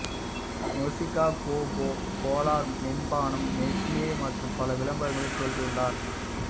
நொசிகா Coca Cola மென்பானம் Nestle மற்றும் பல விளம்பரங்களில் தோன்றியுள்ளார்